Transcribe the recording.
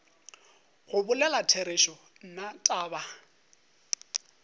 go bolela therešo nna taba